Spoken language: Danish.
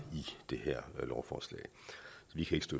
i det her lovforslag